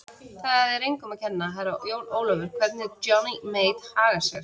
Það er engum að kenna, Herra Jón Ólafur, hvernig Johnny Mate hagar sér.